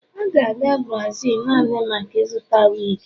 ọ ga-aga Brazil naanị maka ịzụta wig